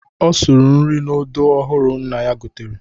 Ọ sụrụ nri n'odo ọhụrụ nna ya gotere.